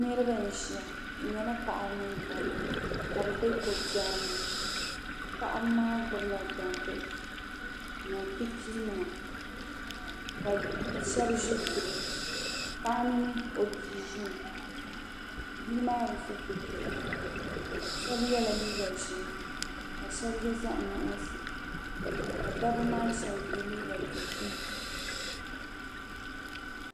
Niraba n ʒiya bi nyɛla paɣaba mini dabba ka bi bɛ ko biɛri ni paɣaba maa gbubila gbambihi ni pipii nima ka shab ʒi duli Paɣa mini o bia ʒi ni bia maa bi so pɛto shab yɛla liiga ʒiɛ ka shab yɛ zaɣ nuɣso ka dabba maa shab yɛ liiga dozim